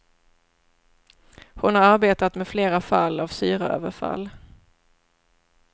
Hon har arbetat med flera fall av syraöverfall.